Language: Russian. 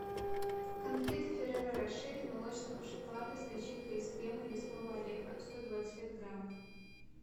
конфеты ферреро роше из молочного шоколада с начинкой из крема и лесного ореха сто двадцать пять граммов